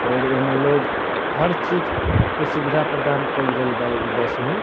और एहमे लोग हर चीज़ के सुविधा प्रदान कइल गइल बा इ बस में |